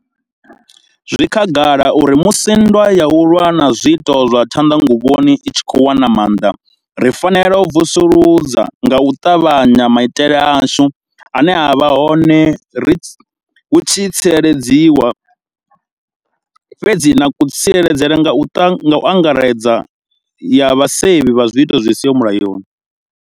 Zwi khagala uri musi nndwa ya u lwa na zwiito zwa tshanḓanguvhoni i tshi khou wana maanḓa, ri fanela u vusuludza nga u ṱavhanya maitele ashu ane a vha hone hu u tsireledza, na kha tsireledzo ya u angaredza ya vhasevhi vha zwiito zwi siho mulayoni.